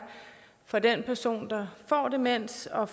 for den person der får demens og